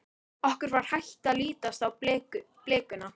Okkur var hætt að lítast á blikuna.